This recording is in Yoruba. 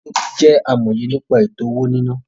Tobí jẹ́ amòye nípa ètò-owó-níná